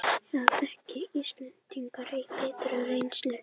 Það þekki Íslendingar af biturri reynslu